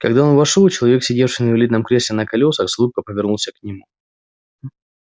когда он вошёл человек сидевший в инвалидном кресле на колёсах с улыбкой повернулся к нему